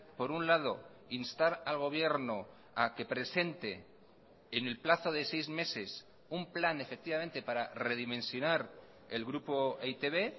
por un lado instar al gobierno a que presente en el plazo de seis meses un plan efectivamente para redimensionar el grupo e i te be